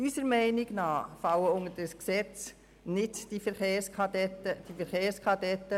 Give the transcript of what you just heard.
Unserer Meinung nach fallen die Verkehrskadetten nicht unter dieses Gesetz.